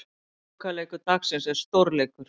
Lokaleikur dagsins er stórleikur.